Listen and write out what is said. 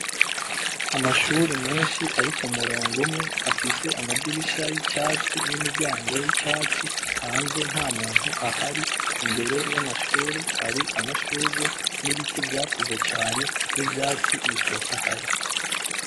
Amashure menshi ari k'umurongo umwe afise amadirisha y'icatsi n'imiryango y'icatsi hanze ntamuntu ahari imbere y'amashure hari amashugwe n'ibiti vyakuze cane n'ivyatsi bitotahaye.